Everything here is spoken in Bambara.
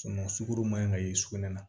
sukoro man ɲi ka ye sugunɛ na